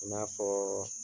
I n'a fɔ.